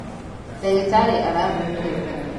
ndagītarī arakomire tene.